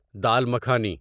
dal makhani